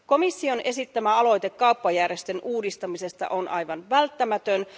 Komission esittämä aloite kauppajärjestön uudistamisesta on aivan välttämätön.